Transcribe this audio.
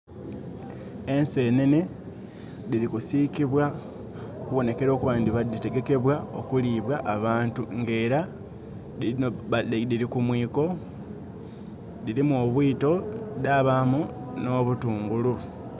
Ensenhenhe dhiri kusiikibwa okubonhekere okuba nga dhitegekebwa okulibwa abantu ng'era dhiri ku muiko, dhirimu obuito dhabamu nh'obutungulu.